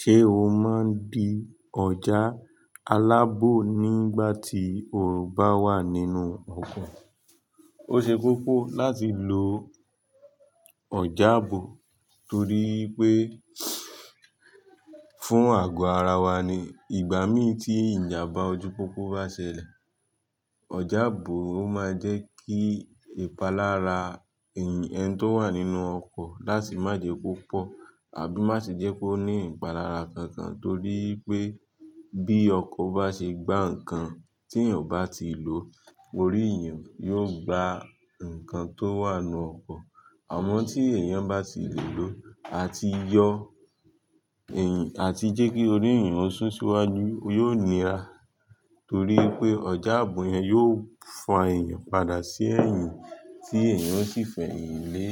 Ṣé o máa ń di ọjà alábò nígbà tí o bá wà nínú ọkọ̀? Ó ṣe kokó láti lo ọjà ààbò torí pé fún àgo ara wa ni ìgbà mí tí ìjàmbá ojú pópó bá ṣẹlẹ̀, ọjà ààbò ó máa ń jẹ́ kí ìpalára ẹni tó wà nínú ọkọ̀ láti má jẹ́ kopọ̀ àbí má sì jẹ́ kó ní ìpalára kankan torí pé bí ọkọ̀ bá ṣe gbá ǹkan tí èèyàn bá ti lò, orí èèyàn yóò gbá ǹkan tó wà nínú ọkọ̀. Àmọ́ tí èèyàn bá ti lè lò àti yọ àti jẹ́ kí orí èèyàn ó sún síwájú, ó yóò nira torí pé ọjà ààbò yẹn yóò fa èèyàn padà sí ẹ̀yìn tí èèyàn ó sì fẹyin lé,